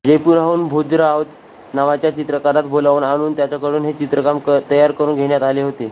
जयपुराहून भोजराज नावाच्या चित्रकारास बोलावून आणून त्याजकडून हे चित्रकाम तयार करून घेण्यात आले होते